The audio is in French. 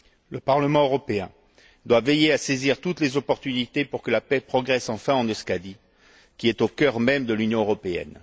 Le Parlement européen doit veiller à saisir toutes les opportunités pour que la paix progresse enfin en Euskadi, qui est au cœur même de l'Union européenne.